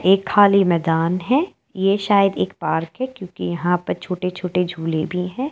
एक खाली मैदान है ये शायद एक पार्क है क्योकि यहाँ पर छोटे छोटे झूले भी हैं।